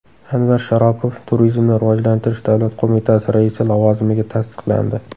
Anvar Sharopov Turizmni rivojlantirish davlat qo‘mitasi raisi lavozimiga tasdiqlandi.